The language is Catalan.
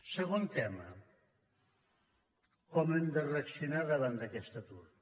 segon tema com hem de reaccionar davant d’aquest atur